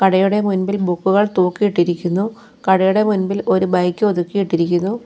കടയുടെ മുമ്പിൽ ബുക്കുകൾ തൂക്കിയിട്ടിരിക്കുന്നു കടയിലെ മുമ്പിൽ ഒരു ബൈക്ക് ഒതുക്കിയിട്ടിരിക്കുന്നു.